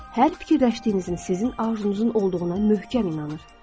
Hər fikirləşdiyinizin sizin arzunuzun olduğuna möhkəm inanır.